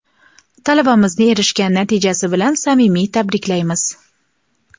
Talabamizni erishgan natijasi bilan samimiy tabriklaymiz!.